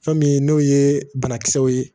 Fɛn min n'o ye banakisɛw ye